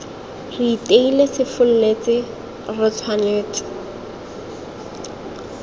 re iteile sefolletse re tshwanetse